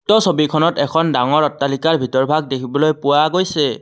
উক্ত ছবিখনত এখন ডাঙৰ অট্টালিকাৰ ভিতৰ ভাগ দেখিবলৈ পোৱা গৈছে।